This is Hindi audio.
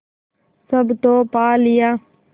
सब तो पा लिया